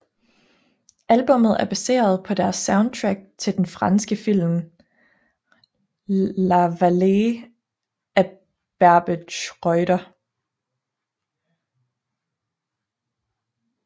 Albummet er baseret på deres soundtrack til den franske film La Vallée af Barbet Schroeder